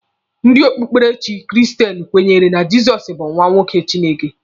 Ndị okpukperechi kristen kwenyere na Jizọs bụ nwa nwoke Chineke.